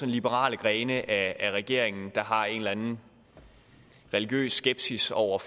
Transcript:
liberale grene af regeringen der har en eller anden religiøs skepsis over